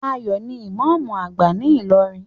Ayo ní imamu agba ní ilorin